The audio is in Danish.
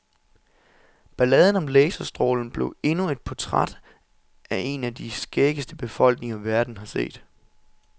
Balladen om laserstrålen blev endnu et portræt af en af de skæggeste befolkninger, verden har set.